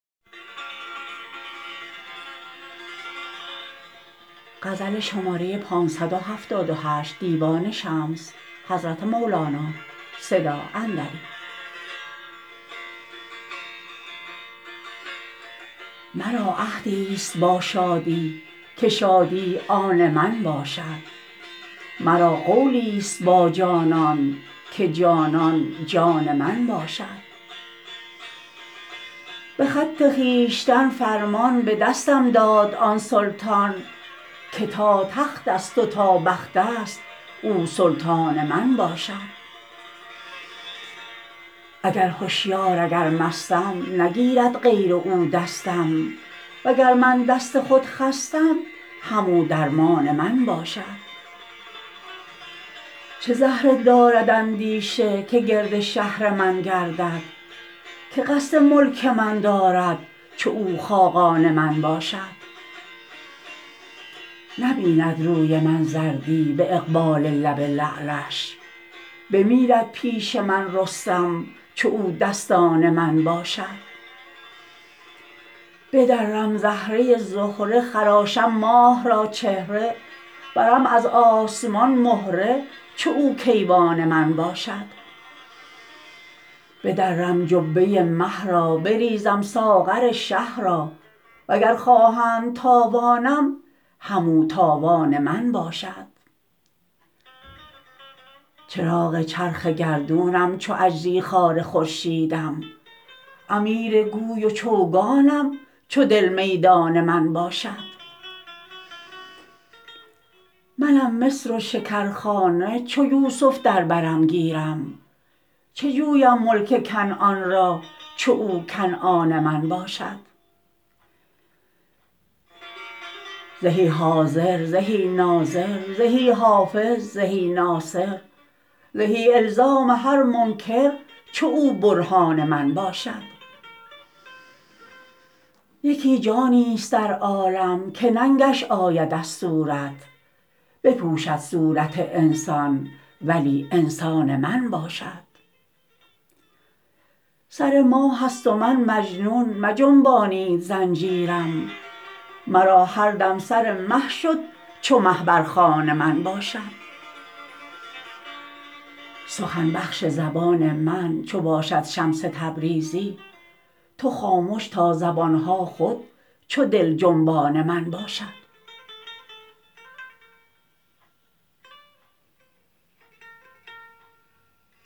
مرا عهدیست با شادی که شادی آن من باشد مرا قولیست با جانان که جانان جان من باشد به خط خویشتن فرمان به دستم داد آن سلطان که تا تختست و تا بختست او سلطان من باشد اگر هشیار اگر مستم نگیرد غیر او دستم وگر من دست خود خستم همو درمان من باشد چه زهره دارد اندیشه که گرد شهر من گردد که قصد ملک من دارد چو او خاقان من باشد نبیند روی من زردی به اقبال لب لعلش بمیرد پیش من رستم چو او دستان من باشد بدرم زهره زهره خراشم ماه را چهره برم از آسمان مهره چو او کیوان من باشد بدرم جبه مه را بریزم ساغر شه را وگر خواهند تاوانم همو تاوان من باشد چراغ چرخ گردونم چو اجری خوار خورشیدم امیر گوی و چوگانم چو دل میدان من باشد منم مصر و شکرخانه چو یوسف در برم گیرد چه جویم ملک کنعان را چو او کنعان من باشد زهی حاضر زهی ناظر زهی حافظ زهی ناصر زهی الزام هر منکر چو او برهان من باشد یکی جانیست در عالم که ننگش آید از صورت بپوشد صورت انسان ولی انسان من باشد سر ماهست و من مجنون مجنبانید زنجیرم مرا هر دم سر مه شد چو مه بر خوان من باشد سخن بخش زبان من چو باشد شمس تبریزی تو خامش تا زبان ها خود چو دل جنبان من باشد